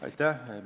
Aitäh!